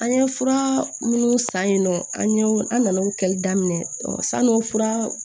An ye fura minnu san yen nɔ an ye an nana o kɛli daminɛ sani o fura